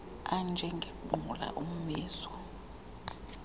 anje ngengqula ummizo